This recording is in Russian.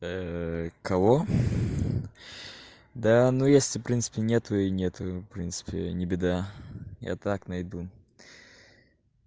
кого да ну если принципе нету и нету в принципе не беда я так найду